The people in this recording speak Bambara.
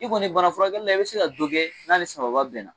I kɔni bana furakɛli la i be se ka don kɛ n'a ni sababa bɛnna